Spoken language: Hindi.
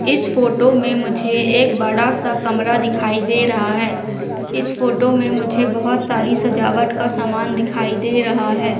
इस फोटो में मुझे एक बड़ा सा कमरा दिखाई दे रहा है इस फोटो में मुझे बहुत सारी सजावट का सामान दिखाई दे रहा है।